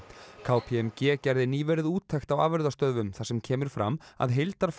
k p m g gerði nýverið úttekt á afurðastöðvum þar sem kemur fram að